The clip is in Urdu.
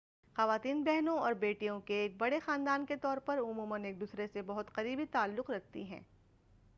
خواتین بہنوں اور بیٹیوں کے ایک بڑے خاندان کے طور پر عموماً ایک دوسرے سے بہت قریبی تعلق رکھتی ہیں